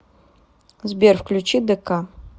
сбер включи дэка